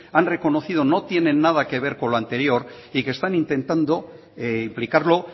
han reconocido no tienen nada que ver con lo anterior y que están intentando implicarlo